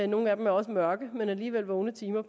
nogle af dem er også mørke men alligevel vågne timer